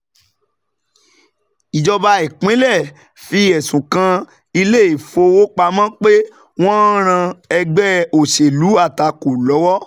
Ìjọba ìpínlè fi ẹsùn kan ilé-ifówopámọ́ pé wọ́n ń ran ẹgbẹ òṣèlú àtakò lọ́wọ́.